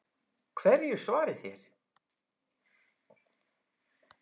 Hverju svarið þér?